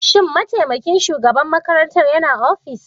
Shin mataimakin shugaban makarantar yana ofis?